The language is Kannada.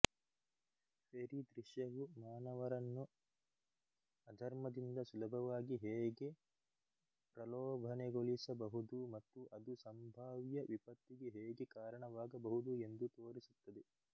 ಫ಼ೆರಿ ದೃಶ್ಯವು ಮಾನವರನ್ನು ಅಧರ್ಮದಿಂದ ಸುಲಭವಾಗಿ ಹೇಗೆ ಪ್ರಲೋಭನೆಗೊಳಿಸಬಹುದು ಮತ್ತು ಅದು ಸಂಭಾವ್ಯ ವಿಪತ್ತಿಗೆ ಹೇಗೆ ಕಾರಣವಾಗಬಹುದು ಎಂದು ತೋರಿಸುತ್ತದೆ